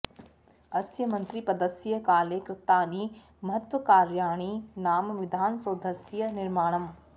अस्य मन्त्रिपदस्य काले कृतानि महत्कार्याणि नाम विधानसौधस्य निर्माणम्